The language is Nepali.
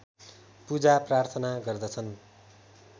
पूजा प्रार्थना गर्दछन्